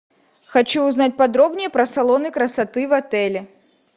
хочу узнать подробнее про салоны красоты в отеле